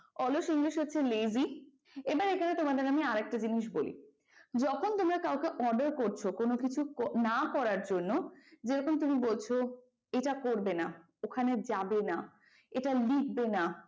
অলস english হচ্ছে lazy এবার এখানে তোমাদের আমি আর একটা জিনিস বলি যখন তোমরা কাউকে order করছো কোন কিছু না করার জন্য যেরকম তুমি বলছো এটা করবে না, ওখানে যাবে না, এটা লিখবে না,